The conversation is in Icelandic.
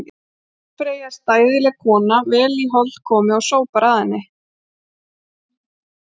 Húsfreyja er stæðileg kona, vel í hold komið og sópar að henni.